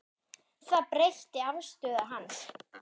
Það breytti afstöðu hans.